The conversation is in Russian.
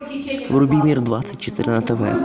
вруби мир двадцать четыре на тв